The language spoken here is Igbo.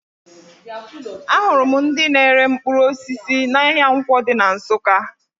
Ahụrụ m ndị na-ere mkpụrụ osisi n'ahịa Nkwọ dị na Nsụka